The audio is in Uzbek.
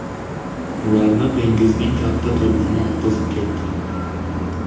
Ularni dengizning katta to‘lqini oqizib ketdi.